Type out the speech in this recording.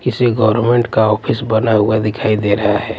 किसी गवर्नमेंट का ऑफिस बना हुआ दिखाई दे रहा है।